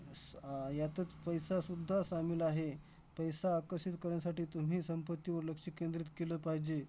आह यातच पैसासुद्धा आहे. पैसा आकर्षित करण्यासाठी तुम्ही संपत्तीवर लक्ष केंद्रित केलं पाहिजे.